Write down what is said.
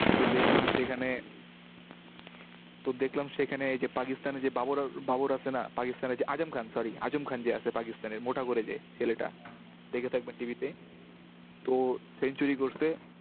তো দেখলাম সেখানে তো দেখলাম সেখানে এই যে পাকিস্তানের যে বাবর বাবর আছে না? পাকিস্তানের যে আজম খান, sorry আজম খান যে আছে পাকিস্তানের, মোটা করে যে ছেলেটা, দেখে থাকবেন TV তে। তয় century করসে।